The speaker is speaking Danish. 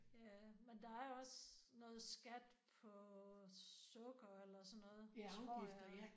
Ja men der er jo også noget skat på sukker eller sådan noget tror jeg